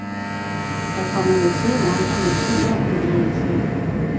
Der kommer med tiden andre motiver ind i ens liv.